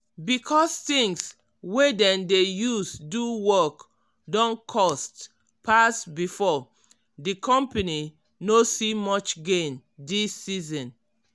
because things wey dem dey use do work don cost pass before di company no see much gain dis season.